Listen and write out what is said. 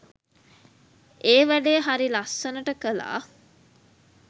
ඒ වැඩේ හරි ලස්සනට කළා.